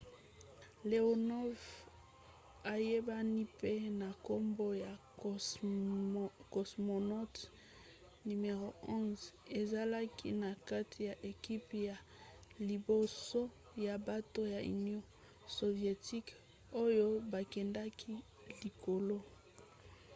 leonov ayebani mpe na nkombo ya cosmonaut no. 11 ezalaki na kati ya ekipe ya liboso ya bato ya union sovietique oyo bakendaki likolo